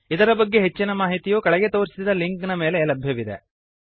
ಇದರ ಬಗ್ಗೆ ಹೆಚ್ಚಿನ ಮಾಹಿತಿಯು ಕೆಳಗೆ ತೋರಿಸಿದ ಲಿಂಕ್ ಗಳ ಮೇಲೆ ಲಭ್ಯವಿದೆ